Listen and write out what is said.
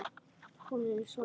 Óli sódó!